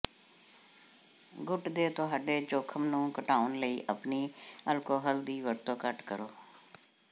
ਗੂੰਟ ਦੇ ਤੁਹਾਡੇ ਜੋਖਮ ਨੂੰ ਘਟਾਉਣ ਲਈ ਆਪਣੀ ਅਲਕੋਹਲ ਦੀ ਵਰਤੋਂ ਘੱਟ ਕਰੋ